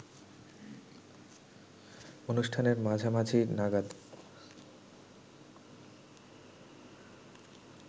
অনুষ্ঠানের মাঝামাঝি নাগাদ